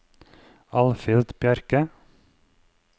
Alfhild Bjerke